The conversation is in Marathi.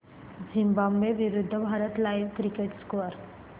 झिम्बाब्वे विरूद्ध भारत लाइव्ह क्रिकेट स्कोर